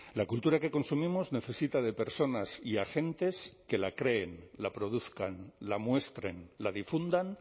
la cultura que consumimos necesita de personas y agentes que la creen la produzcan la muestren la difundan